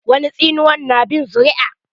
Wani tsinuwan na bin zuri'a.